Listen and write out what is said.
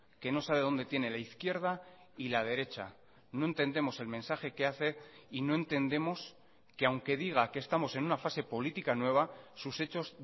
que no sabe dónde tiene la izquierda y la derecha no entendemos el mensaje que hace y no entendemos que aunque diga que estamos en una fase política nueva sus hechos